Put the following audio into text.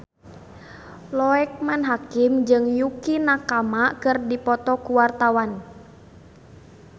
Loekman Hakim jeung Yukie Nakama keur dipoto ku wartawan